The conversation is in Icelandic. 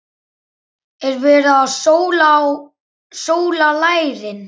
Er verið að sóla lærin?